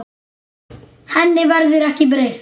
Henni verður ekki breytt.